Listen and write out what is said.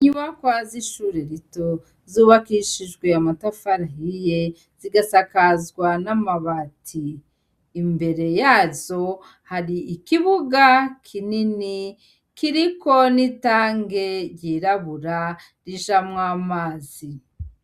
Inyubakwa z' ishure rito zubakishijwe amatafari ahiye zigasakazwa n'amabati imbere yazo hari ikibuga kinini kiriko n'itange ryirabura rijamwo amazi.